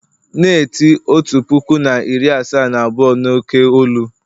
na-eti otu puku na iri asaa na abụọ n'oké olu!